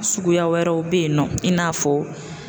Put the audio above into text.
Suguya wɛrɛw bɛ yen nɔ i n'a fɔ